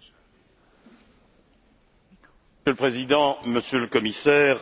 Monsieur le Président, Monsieur le Commissaire,